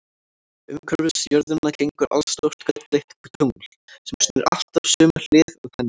Umhverfis jörðina gengur allstórt gulleitt tungl, sem snýr alltaf sömu hlið að henni.